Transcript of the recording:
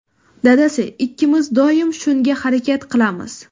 Dadasi ikkimiz doim shunga harakat qilamiz.